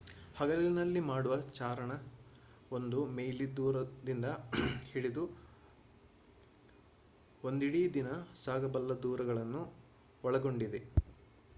ಹಗಲಿನಲ್ಲಿ ಮಾಡುವ ಚಾರಣ ಒಂದು ಮೈಲಿ ದೂರದಿಂದ ಹಿಡಿದು ಒಂದಿಡೀ ದಿನ ಸಾಗಬಲ್ಲ ದೂರಗಳನ್ನು ಒಳಗೊಂಡಿದೆ